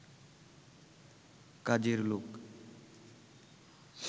কাজের লোক